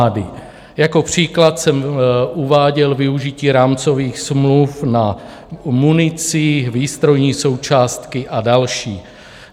Jako příklad jsem uváděl využití rámcových smluv na munici, výstrojní součástky a další.